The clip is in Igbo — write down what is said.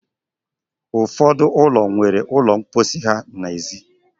Ụfọdụ ụlọ nwere ụlọ mposi ha n'èzí.